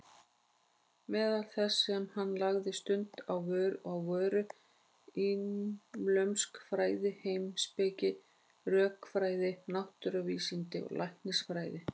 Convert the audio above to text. Meðal þess sem hann lagði stund á voru íslömsk fræði, heimspeki, rökfræði, náttúruvísindi og læknisfræði.